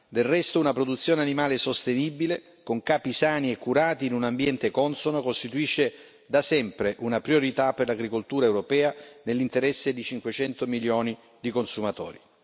Del resto una produzione animale sostenibile, con capi sani e curati in un ambiente consono, costituisce da sempre una priorità per l'agricoltura europea nell'interesse di 500 milioni di consumatori.